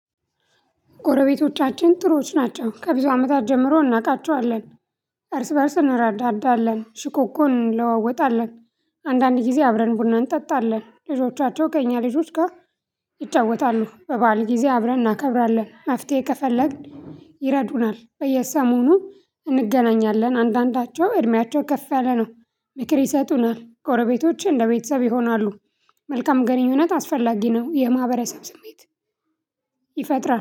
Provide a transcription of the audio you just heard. ጎረቤቶቻችን ጥሩዎች ናቸው ከብዙ አመታት ጀምሮ እናውቃቸዋለን። እርስ በእርስ እንረዳዳለን ሽኮኮን እንለዋወጣለን። አንዳንድ ጊዜ አብረን ቡና እንጠጣለን ልጆቻቸው ከእኛ ልጆች ጋር። ይጫወታሉ በበዓል ጊዜ አብረን እናከብራለን። መፍትሄ ከፈለግን ይረዱናል በየሰሞኑ እንገናኛለን። አንዳንዳቸው እድሜያቸው ከፍ ያለ ነው። ምክር ይሰጡናል ጎረቤቶች እንደ ቤተሰብ ይሆናሉ። መልካም ግንኙነት አስፈላጊ ነው የማህበረሰብ ስሜት ይፈጥራል